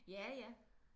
Ja ja